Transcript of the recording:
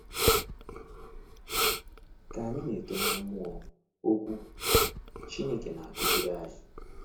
Ka anyị na-eto na mmụọ, Okwu Chineke na-akụziri anyị.